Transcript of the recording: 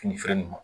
Fini feere in ma